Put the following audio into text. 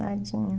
Nadinha.